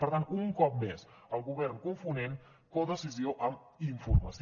per tant un cop més el govern confonent codecisió amb informació